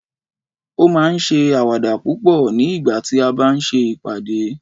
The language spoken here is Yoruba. o ma n se awada púpò ni ìgbà tí a bá n se ìpàdé